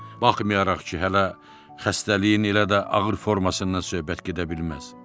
Baxmayaraq ki, hələ xəstəliyin elə də ağır formasından söhbət gedə bilməz.